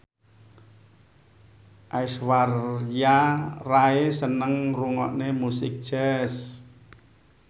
Aishwarya Rai seneng ngrungokne musik jazz